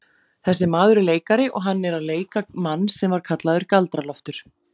Þessi maður er leikari og hann er að leika mann sem var kallaður Galdra-Loftur.